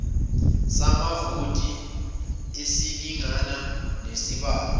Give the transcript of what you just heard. samavoti esilingana nesibalo